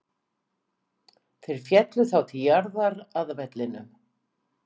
Þeir féllu þá til jarðar, að vellinum.